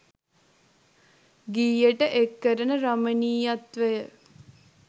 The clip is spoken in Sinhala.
ගීයට එක් කරන රමණීයත්වය